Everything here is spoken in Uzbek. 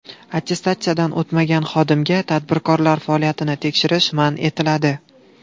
Attestatsiyadan o‘tmagan xodimga tadbirkorlar faoliyatini tekshirish man etiladi.